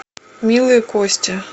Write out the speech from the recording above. милые кости